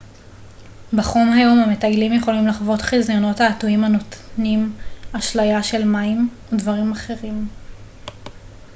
בחום היום המטיילים יכולים לחוות חזיונות תעתועים הנותנים אשליה של מים או דברים אחרים